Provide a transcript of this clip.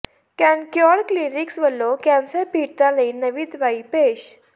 Cancure clinics ਵਲੋਂ cancer ਪੀੜਤਾਂ ਲਈ ਨਵੀਂ ਦਵਾਈ ਪੇਸ਼